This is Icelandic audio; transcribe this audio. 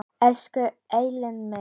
Elsku Elín mín.